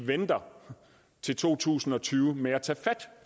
venter til to tusind og tyve med at tage fat